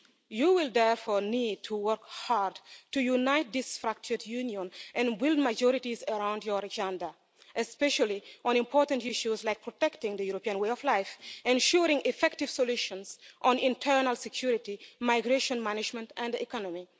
You will, therefore, need to work hard to unite this fractured Union and win majorities around your agenda, especially on important issues like protecting the European way of life, ensuring effective solutions on internal security, migration management and economy.